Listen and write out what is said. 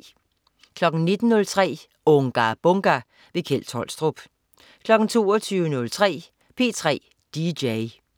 19.03 Unga Bunga! Kjeld Tolstrup 22.03 P3 dj